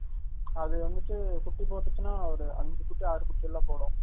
அது வந்துட்டு குட்டி போடுச்சுனா ஒரு அன்சு குட்டி ஆரு குட்டி எல்லாம் போடும்